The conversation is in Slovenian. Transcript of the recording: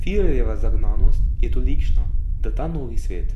Firerjeva zagnanost je tolikšna, da ta novi svet,